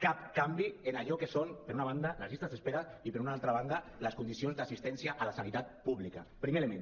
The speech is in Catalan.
cap canvi en allò que són per una banda les llistes d’espera i per una altra banda les condicions d’assistència a la sanitat pública primer element